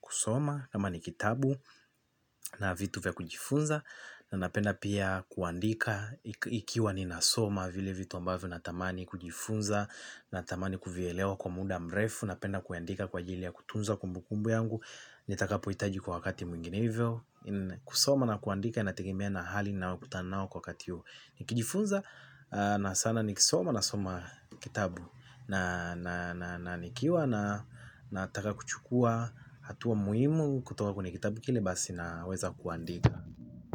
kusoma kama ni kitabu na vitu vya kujifunza na napenda pia kuandika. Ikiwa ninasoma vile vitu ambavyo natamani kujifunza natamani kuvielewa kwa muda mrefu. Napenda kuandika kwa ajili ya kutunza kumbukumbu yangu nitakapohitaji kwa wakati mwingine hivyo. Kusoma na kuandika inategemea na hali ninayokutana nayo kwa wakati huo. Nikijifunza na sana nikisoma nasoma kitabu na nikiwa nataka kuchukua hatua muhimu kutoka kwenye kitabu kile basi naweza kuandika.